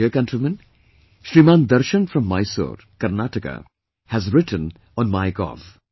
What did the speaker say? My dear countrymen, Shriman Darshan from Mysore, Karnataka has written on My gov